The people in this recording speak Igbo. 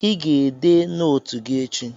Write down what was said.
Ị ga-ede nootu gị echi.